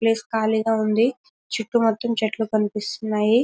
Place ఖాళీ గా ఉంది చుట్టూ మొత్తం చెట్లు కనిపిస్తున్నాయి.